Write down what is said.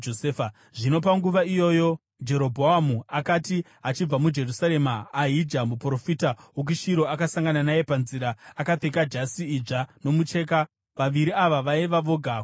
Zvino panguva iyoyo Jerobhoamu akati achibva muJerusarema, Ahija muprofita wokuShiro akasangana naye panzira, akapfeka jasi idzva nomucheka. Vaviri ava vaiva voga kusango,